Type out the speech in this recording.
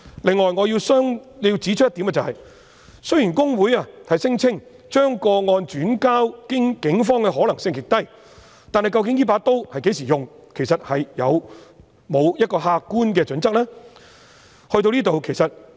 此外，我亦要指出一點，雖然公會聲稱將個案轉介警方的可能性極低，但究竟這把刀會在何時使用，有沒有客觀的準則？